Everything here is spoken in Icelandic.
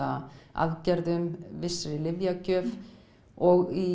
aðgerðum vissri lyfjagjöf og í